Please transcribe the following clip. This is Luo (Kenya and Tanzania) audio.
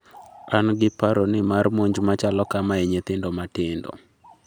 an gi paro ni mar monj machalo kama e nyithindo matindo?